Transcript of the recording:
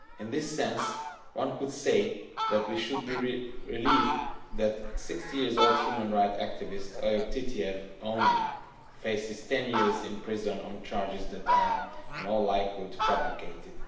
In this sense one could say that we should be relieved that the 60 year old human rights activist Oyub Titiyev only faces 10 years in prison on charges that are, in all likelihood, fabricated.